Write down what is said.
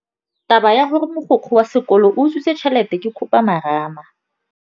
Taba ya gore mogokgo wa sekolo o utswitse tšhelete ke khupamarama.